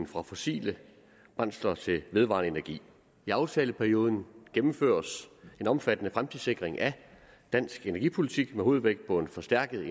fra fossile brændsler til vedvarende energi i aftaleperioden gennemføres en omfattende fremtidssikring af dansk energipolitik med hovedvægt på en forstærket